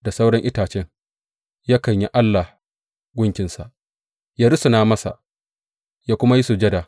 Da sauran itacen yakan yi allah, gunkinsa; yă rusuna masa yă kuma yi sujada.